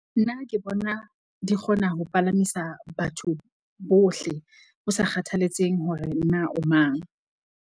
Nna ke bona di kgona ho palamisa batho bohle, ho sa kgathalatseheng hore na o mang.